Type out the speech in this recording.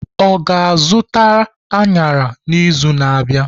Ọ ga-azụta añara n'izu na-abịa?